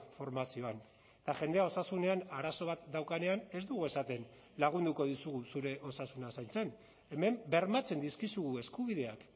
formazioan eta jendea osasunean arazo bat daukanean ez dugu esaten lagunduko dizugu zure osasuna zaintzen hemen bermatzen dizkizugu eskubideak